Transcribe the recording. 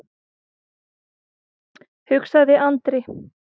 hugsaði Andri.